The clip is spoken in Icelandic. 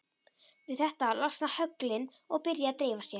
Við þetta losna höglin og byrja að dreifa sér.